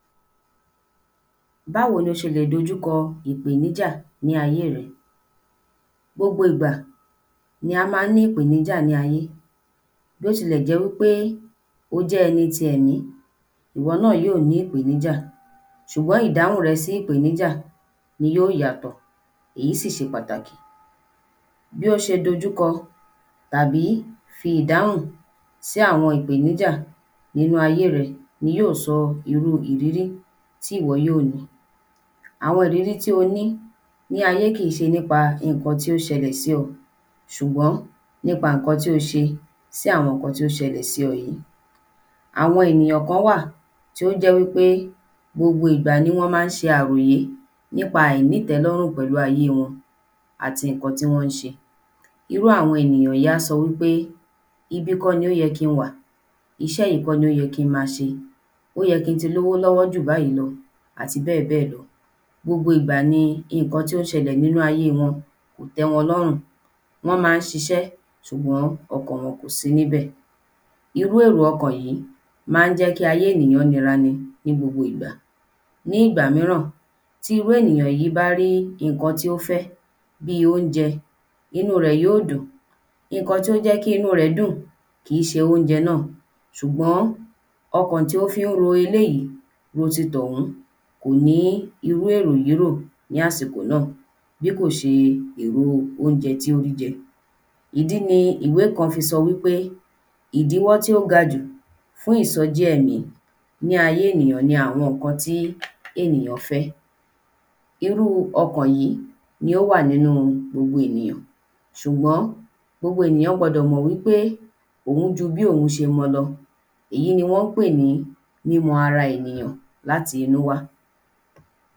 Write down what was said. ﻿Báwo lo ṣe lè dojúkọ ìpèníjà ní ayé rẹ? Gbogbo ìgbá ní á má ń ní ìpèníjà ní ayé. Bí o tilẹ̀ jẹ́ wí pé o jẹ́ ẹni ti ẹ̀mí, ìwọ náà yí ò ní ìpèníjà ṣùgbọ́n ìdáhùn rẹ sí ìpèníjà ni yó yàtọ̀. Èyí sì ṣe pàtàkì. Bí ó ṣe dojúkọ tàbí fi ìdáhùn sí àwọn ìpèníjà nínú àyé rẹ ni yóò sọ irú ìrírí tí ìwọ yó ní. Àwọn ìrírí tí o ní ní ayé kì ń ṣe nípa ǹkan tí ó ṣẹlẹ̀ sí ọ̀ ṣùgbọ́n nípa ǹkan tí o ṣe sí àwọn ǹkan tí ó ṣẹlẹ̀ sí ẹ yìí. Àwọn ènìyàn kán wà tí ó jẹ́ wí pé gbogbo ìgbà ni wọ́n má ń ṣe àròyé nípa àìnítẹ́lọ́rùn pẹ̀lú ayé wọn àti ìnkan tí wọ́n ń ṣe. Irú àwọn ènìyàn yí á sọ wí pé ibí kó ni ó yẹ ki wà, iṣẹ́ yí kọ̀ ni ó yẹ ki n ma ṣe. Ó yẹ ki n ti lówó lọ́wọ́ jù báyí lọ àti bẹ́ẹ̀ bẹ́ẹ̀ lọ. Gbogbo ìgbà ni ìnkan tí ó ń ṣẹlẹ̀ ní inú ayé wọn kò tẹ́ wọn lọ́rùn. Wọ́n má ń ṣiṣẹ́ ṣùgbọ́n ọkàn wọ́n kò sí níbẹ̀. Irú èrò ọkàn yìí má ń jẹ́ kí àyé ènìyàn nira ni ní gbogbo ìgbà. Ní ìgbà míràn, tí irú ènìyàn yí bá rí ìnkan tí ó fẹ́ bí óunjẹ inú rẹ̀ yó dùn. Ìnkan tí ó jẹ́ kí inú rẹ̀ ó dùn kì ń ṣe óunjẹ náà ṣùgbọ́n ọkàn tí ó fí ń ro eléyí ro ti tọ̀hún kò ní irú èrò yí rò ní àsìkò náà bí kò ṣe èrò óunjẹ tí ó ń jẹ. Ìdí ni ìwé kan fi sọ wí pé ìdíwọ! tí ó ga jù fún ìsọjí ẹ̀mí ni àyé ènìyàn ni àwọn ǹkan tí ènìyàn fẹ́. Irú ọkàn yí ni ó wà nínú gbogbo enìyàn. Ṣùgbọ́n gbogbo ènìyàn gbọdọ̀ mọ̀ wí pé òun ju bí òun ṣe mọ lọ èyí ni wọ́n pé ní mímọ ara ènìyàn láti inú wá.